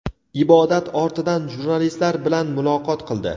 ibodat ortidan jurnalistlar bilan muloqot qildi.